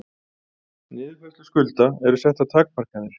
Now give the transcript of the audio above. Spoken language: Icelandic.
Niðurfærslu skulda eru settar takmarkanir